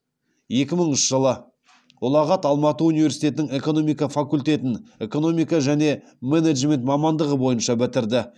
екі мыңыншы жылы ұлағат алматы университетінің экономика факультетін экономика және менеджмент мамандығы бойынша бітірді